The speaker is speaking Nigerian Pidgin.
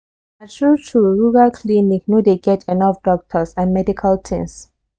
na true true rural clinic no dey get enough doctors and medical things.